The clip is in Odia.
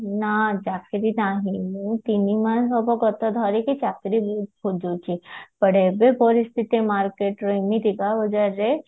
ନା ଚାକିରି ନାହିଁ ମୁଁ ତିନିମାସ ହବ ଗତ ଧରିକି ଚାକିରି ବହୁତ ଖୋଜୁଛି ତାର ଏବେ ପରିସ୍ଥିତି market ରେ ମୁଁ ହବାରେ